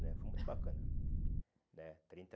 né Foi muito bacana né trinta.